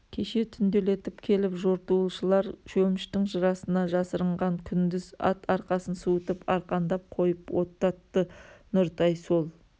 кеше түнделетіп келіп жортуылшылар шөміштің жырасына жасырынған күндіз ат арқасын суытып арқандап қойып оттатты нұртай сол